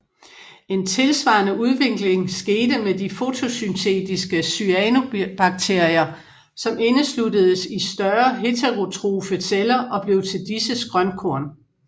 En tilsvarende udvikling skete med de fotosyntetiske cyanobakterier som indesluttedes i større heterotrofe celler og blev til disses grønkorn